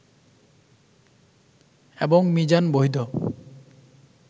এবং মিজান বৈধ